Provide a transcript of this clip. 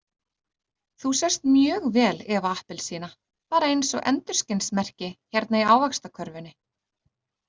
Þú sést mjög vel Eva appelsína, bara eins og endurskinsmerki hérna í Ávaxtakörfunni.